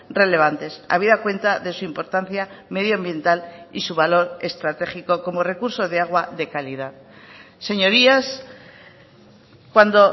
relevantes habida cuenta de su importancia medio ambiental y su valor estratégico como recurso de agua de calidad señorías cuando